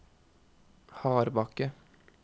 Hardbakke